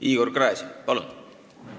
Igor Gräzin, palun!